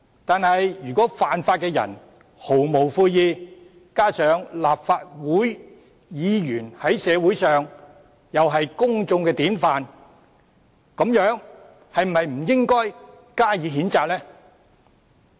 但如果犯法的人毫無悔意，加上立法會議員在社會上是公眾典範，難道不應予以譴責？